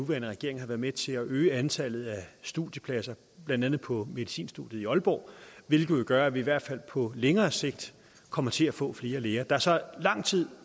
nuværende regering har været med til at øge antallet af studiepladser blandt andet på medicinstudiet i aalborg hvilket jo gør at vi i hvert fald på længere sigt kommer til at få flere læger der er så lang tid